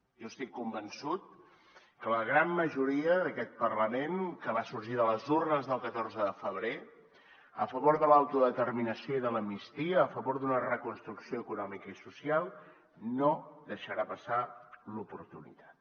jo estic convençut que la gran majoria d’aquest parlament que va sorgir de les urnes del catorze de febrer a favor de l’autodeterminació i de l’amnistia a favor d’una reconstrucció econòmica i social no deixarà passar l’oportunitat